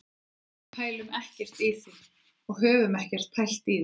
Við pælum ekkert í því og höfum ekkert pælt í því.